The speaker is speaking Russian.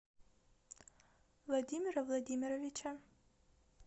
владимира владимировича